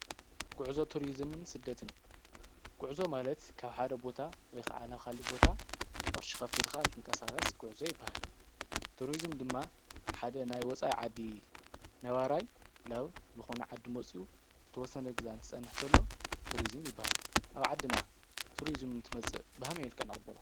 ጉዕዞ ቱሪዝምን ስደትን ጉዕዞ ማለት ካብ ሓደ ቦታ ወይ ክዓ ናብ ካሊእ ቦታ ቅርሺ ከፊልካ እንትንቀሳቀስ ጉዕዞ ይባሃል፡፡ ቱሪዝም ድማ ሓደ ናይ ወፃኢ ዓዲ ነባራይ ናብ ልኮነ ዓዲ መፅኡ ዝተወሰነ ግዜ እንትፀንሕ ተሎ ቱሪዝም ይባሃል፡፡ ኣብ ዓድና ቱሪዝም እንትመፅእ ብከመይ መልክዕ ንቅበሎ?